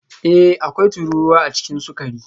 Ee, akwai tururuwa a cikin sukari